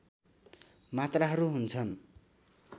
मात्राहरू हुन्छन्